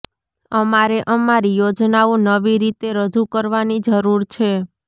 અમારે અમારી યોજનાઓ નવી રીતે રજૂ કરવાની જરૂર છે